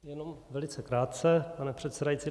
Jenom velice krátce, pane předsedající.